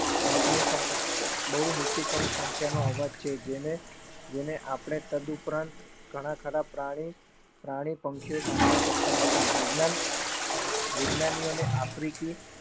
બહુ નીચી કમ સંખ્યાનો અવાજ છે જેને આપણે તદુપરાંત ઘણા ખરા પ્રાણી પંખીઓ સાંભળી સકતા નથી. વૈજ્ઞાન વૈજ્ઞાનિઓને આફ્રિકી